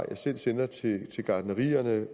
jeg sende til de gartnerier